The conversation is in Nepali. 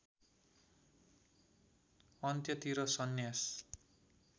अन्त्यतिर सन्यास